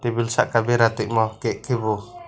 tebil saka bera tongmo cake ke bo.